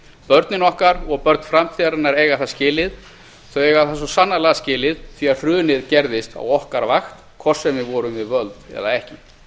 börnin okkar og börn framtíðarinnar eiga það skilið þau eiga það svo sannarlega skilið því að hrunið gerðist á okkar vakt hvort sem við vorum við völd eða ekki